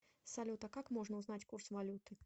салют а как можно узнать курс валюты